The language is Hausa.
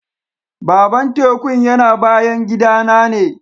Baban tekun yana bayan gida na ne.